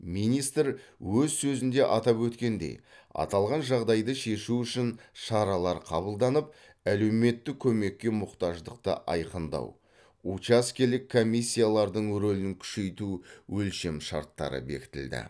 министр өз сөзінде атап өткендей аталған жағдайды шешу үшін шаралар қабылданып әлеуметтік көмекке мұқтаждықты айқындау учаскелік комиссиялардың рөлін күшейту өлшемшарттары бекітілді